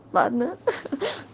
ладно ха-ха